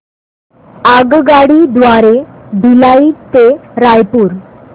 आगगाडी द्वारे भिलाई ते रायपुर